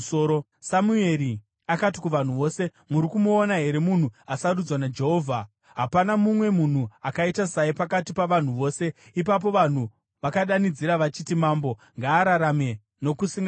Samueri akati kuvanhu vose, “Muri kumuona here munhu asarudzwa naJehovha? Hapana mumwe munhu akaita saye pakati pavanhu vose.” Ipapo vanhu vakadanidzira vachiti, “Mambo ngaararame nokusingaperi!”